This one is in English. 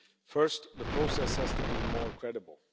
First, the process has to be more credible.